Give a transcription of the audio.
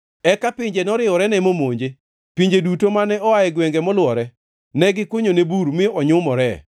Eka pinje noriworene momonje, pinje duto mane oa e gwenge molwore. Ne gikunyone bur mi onyumore.